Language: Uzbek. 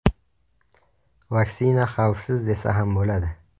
Vaksina xavfsiz desa ham bo‘ladi.